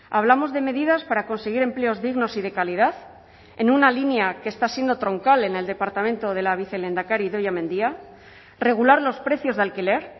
hablamos de medidas para conseguir empleos dignos y de calidad en una línea que está siendo troncal en el departamento de la vicelehendakari idoia mendia regular los precios de alquiler